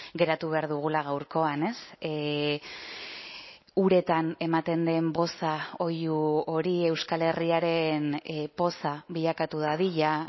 geratu behar dugula gaurkoan uretan ematen den boza oihu hori euskal herriaren poza bilakatu dadila